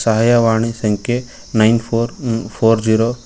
ಸಹಾಯವಾಣಿ ಸಂಖೆ nine four four zero --